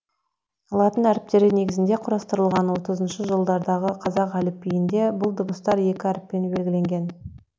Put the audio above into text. латын әріптері негізінде құрастырылған отызыншы жылдардағы қазақ әліпбиінде бұл дыбыстар екі әріппен белгіленген